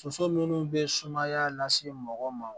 Soso minnu bɛ sumaya lase mɔgɔw ma